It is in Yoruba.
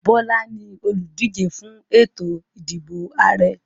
Bola ní oludije fún ètò ìdìbò Ààrẹ.